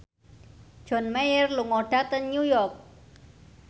John Mayer lunga dhateng New York